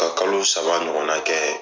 Ka kalo saba ɲɔgɔn na kɛ.